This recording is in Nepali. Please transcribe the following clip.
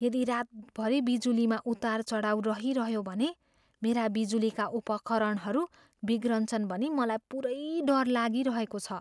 यदि रातभरि बिजुलीमा उतारचढाव रहिरह्यो भने मेरा बिजुलीका उपकरणहरू बिग्रन्छन् भनी मलाई पुरै डर लागिरहेको छ।